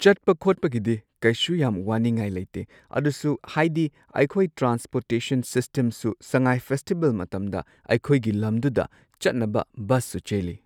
ꯆꯠꯄ ꯈꯣꯠꯄꯒꯤꯗꯤ ꯀꯩꯁꯨ ꯌꯥꯝ ꯋꯥꯅꯤꯡꯉꯥꯏ ꯂꯩꯇꯦ ꯑꯗꯨꯁꯨ ꯍꯥꯏꯗꯤ ꯑꯩꯈꯣꯏ ꯇ꯭ꯔꯥꯟꯁꯄꯣꯔꯇꯦꯁꯟ ꯁꯤꯁꯇꯦꯝꯁꯨ ꯁꯉꯥꯏ ꯐꯦꯁꯇꯤꯕꯦꯜ ꯃꯇꯝꯗ ꯑꯩꯈꯣꯏꯒꯤ ꯂꯝꯗꯨꯗ ꯆꯠꯅꯕ ꯕꯁ ꯁꯨ ꯆꯦꯜꯂꯤ꯫